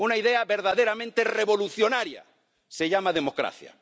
una idea verdaderamente revolucionaria se llama democracia.